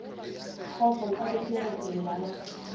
kgosto nkabe ke re llang